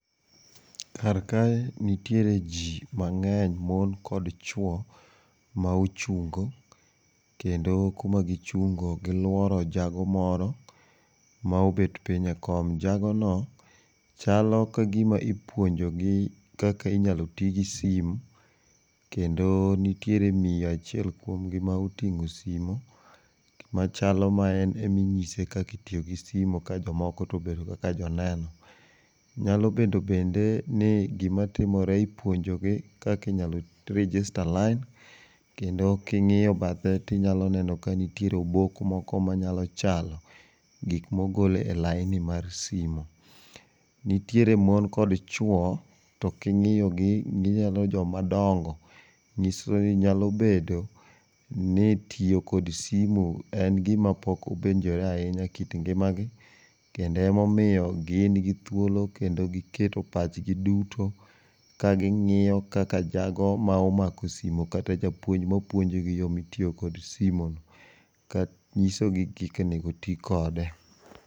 Kar kae, nitiere ji mang'eny, mon kod chwo ma ochungo kendo kuma gichunge giluoro jago moro ma obet piny e kom. Jagono chalo ka gima ipuonjogi kaka inyalo ti gi simu. Kendo nitiere miyo achiel kuom gi ma oting'o simu machalo ma en ema inyise kaka itiyo gi simu ka jomoko to obedo kaka joneno. Nyalo bedo bende ni gima timore, ipuonjogi kaka inyalo register line, kendo king'iyo bathe tinyalo neno ka nitiere obok moko manyalo chalo gik mogol e laini mar simu. Nitiere mon kod chwo to king'iyogi gichalo joma dongo. Nyiso ni nyalo bedo ni tiyo kod simu en gima pok owinjore ahinya engimagi kendo emomiyo gin gi thuolo kendo giketo pachgi duto kaging'iyo kaka jago ma omako simu kata japuonj mapuonjogi yo mitiyo kod simu nyisogi kaka onego ti kode.